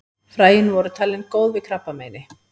Fræin voru talin góð við krabbameini.